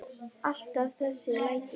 Alltaf þessi læti.